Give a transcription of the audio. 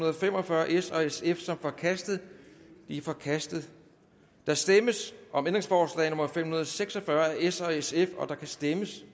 og fem og fyrre af s og sf som forkastet det er forkastet der stemmes om ændringsforslag nummer fem hundrede og seks og fyrre af s og sf der kan stemmes